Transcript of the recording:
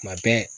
Kuma bɛɛ